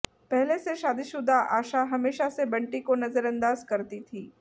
पहले से शादीशुदा आशा हमेशा से बंटी को नजरअंदाज करती थी